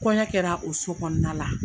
Kɔɲɔ kɛra o so kɔnɔna la.